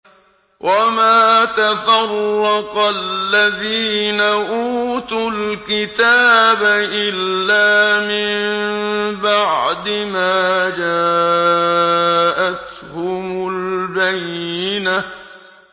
وَمَا تَفَرَّقَ الَّذِينَ أُوتُوا الْكِتَابَ إِلَّا مِن بَعْدِ مَا جَاءَتْهُمُ الْبَيِّنَةُ